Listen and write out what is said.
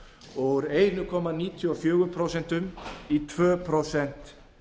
og úr einum komma níutíu og fjögur prósent í tvö prósent